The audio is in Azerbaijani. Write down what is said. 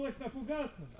Qəlpəli fuqaslı?